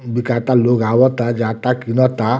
बिकाता लोग आवता जाता कीनता।